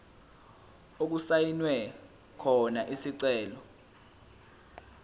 okusayinwe khona isicelo